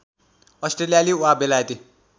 अस्ट्रेलियाली वा बेलायती